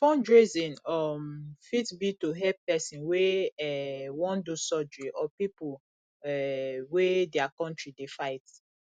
fundraising um fit be to help person wey um wan do surgery or pipo um wey their country dey fight